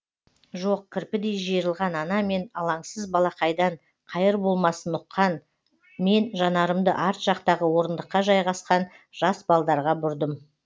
жоқ кірпідей жиырылған ана мен алаңсыз балақайдан қайыр болмасын ұққан мен жанарымды арт жақтағы орындыққа жайғасқан жас балдарға бұрдым